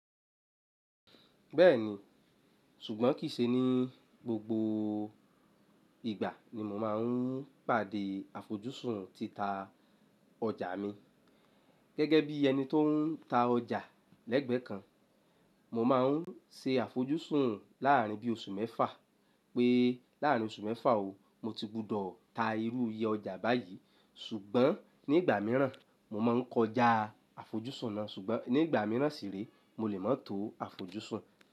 Bẹ́ẹ̀ni, ṣùgbọ́n kìí ṣe ní gbogbo ìgbà ni mo máa ń pàdé àfojúsùn títa ọjà mi. Gẹ́gẹ́ bí ẹni tó ń ta ọjà lẹ́gbẹ́ẹ́ kan, mo máa ń ṣe àfojúsùn láàrín bí oṣù mẹ́fà pé láàrín oṣù mẹ́fà o, mo ti gbúdọ̀ ta irú iye ọjà báyìí ṣùgbọ́n nígbà mìíràn mo máa ń kọjá àfojúsùn náà ṣùgbọ́n nígbà mìíràn sì rèé mo lè má tó àfojúsùn.